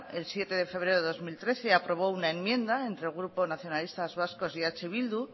el siete de febrero del dos mil trece aprobó una enmienda entre el grupo nacionalistas vascos y eh bildu